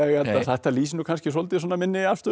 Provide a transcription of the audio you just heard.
að nei þetta lýsir nú kannski svolítið minni afstöðu